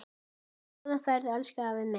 Góða ferð, elsku afi minn.